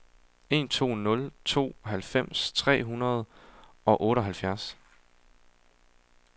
en to nul to halvfems tre hundrede og otteoghalvfjerds